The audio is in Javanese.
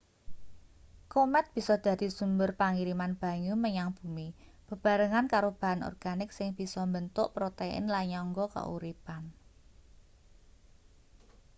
komet bisa dadi sumber pangiriman banyu menyang bumi bebarengan karo bahan organik sing bisa mbentuk protein lan nyangga kauripan